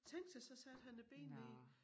Tænk sig så satte han et ben ved